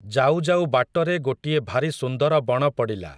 ଯାଉଯାଉ ବାଟରେ ଗୋଟିଏ ଭାରି ସୁନ୍ଦର ବଣ ପଡ଼ିଲା ।